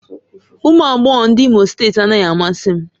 Ụmụ agbọghọ ndị Imo steeti anaghị amasị m